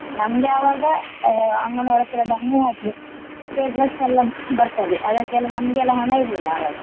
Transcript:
ನಮ್ಗೆ ಅವಾಗ ಅಹ್ ಅಮ್ಮನವರತ್ರ ದಮ್ಮಯ್ಯ ಹಾಕ್ಬೇಕ್ dress ಎಲ್ಲ ಬರ್ತದೆ ಅದಕ್ಕೆಲ್ಲ ನಮ್ಗೆಲ್ಲ ಹಣ ಇರ್ಲಿಲ್ಲ ಅವಾಗ.